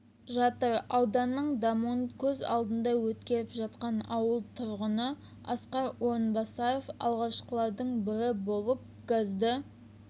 жатыр ауданның дамуын көз алында өткеріп жатқан ауыл тұрғыны асқар орынбасаров алғашқылардың бірі болып газды